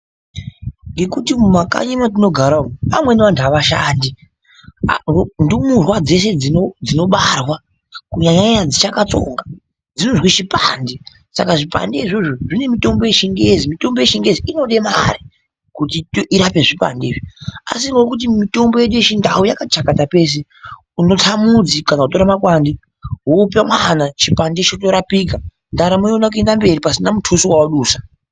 Ngekuti mumakanyi mwatinogara umo vamweni vantu avashandi apa ndumurwa dzeshe dzinobarwa kunyanya nyaya dzichakatsonga dzinozwe chipande, saka zvipande izvozvo zvine mutombo yechingezi, mutombo yechingezi inode mare kuti irape zvipande izvi asi ngokuti mitombo yedu yechindau yakati chakata pese unotsa mudzi kana kutore makwande wopa mwana chipande chotorapika ndaramo yoona kuenda mberi pasina mutuso watadusa.